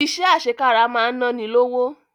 Iṣẹ́ àṣekára máa ń náni lówó